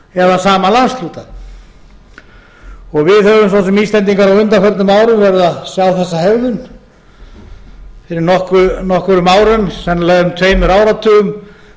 eða sama landshluta við höfum svo sem íslendingar á undanförnum árum verið að sjá þessa hegðun fyrir nokkrum árum sennilega um tveimur áratugum